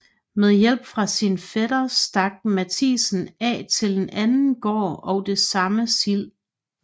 Med hjælp fra sin fætter stak Mathiesen af til en anden gård og det samme slid